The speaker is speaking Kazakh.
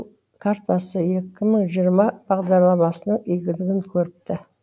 картасы екі мың жиырма бағдарламасының игілігін көріпті